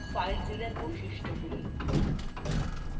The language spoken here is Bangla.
filezilla এর বৈশিষ্ট্যগুলি